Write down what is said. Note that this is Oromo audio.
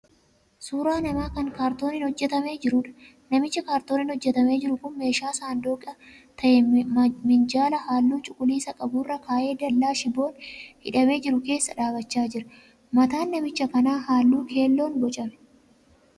Suuraa namaa kan 'kaartooniin' hojjetamee jiruudha. Namichi 'kaartooniin' hojjetamee jiru kun meeshaa saanduqa ta'e minjaala halluu cuquliisa qabu irra kaa'ee dal'aa shibboon hidhamee jiru keessa dhaabbachaa jira. Mataan namicha kanaa halluu keelloon boocame.